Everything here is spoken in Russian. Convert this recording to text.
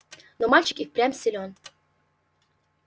но мальчик и впрямь силён